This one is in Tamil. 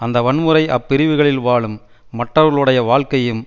அந்த வன்முறை அப்பிரிவுகளில் வாழும் மற்றவர்களுடைய வாழ்க்கையையும்